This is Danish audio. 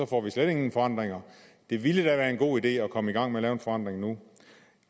får vi slet ingen forandringer det ville da være en god idé at komme i gang med at lave en forandring nu